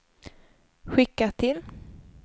skicka till